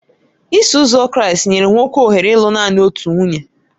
Iso Ụzọ Kraịst nyere nwoke ohere ịlụ nanị otu nwunye